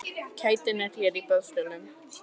Kætin er hér á boðstólum.